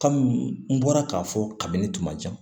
n bɔra k'a fɔ kabini kuma ca